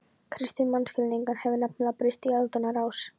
Kristinn mannskilningur hefur nefnilega breyst í aldanna rás.